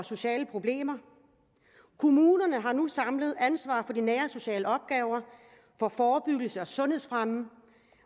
sociale problemer kommunerne har nu samlet ansvaret for de nære og sociale opgaver for forebyggelse og sundhedsfremme